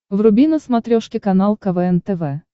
вруби на смотрешке канал квн тв